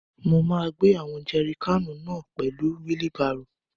Mo máa gbé àwọn jẹri káànù náà pẹ̀lú wílí barò.